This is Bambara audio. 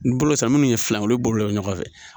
Ni bolo san munnu ye filan olu bolo bɛ ɲɔgɔn fɛ.